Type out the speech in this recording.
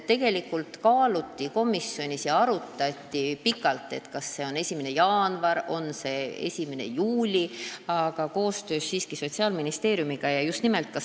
Tegelikult kaaluti komisjonis pikalt, kas jõustumisaeg võiks olla 1. jaanuar või 1. juuli, aga koostöös Sotsiaalministeeriumiga tegime sellise otsuse.